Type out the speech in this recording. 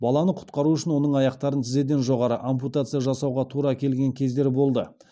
баланы құтқару үшін оның аяқтарына тізеден жоғары ампутация жасауға тура келген кездер болды